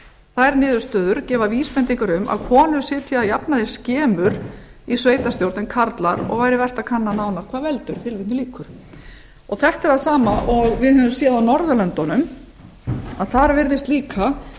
þær niðurstöður gefa vísbendingar um að konur sitja að jafnaði skemur í sveitarstjórn en karlar og væri vert að kanna nánar hvað veldur þetta er það sama og við höfum séð á norðurlöndunum þar virðist líka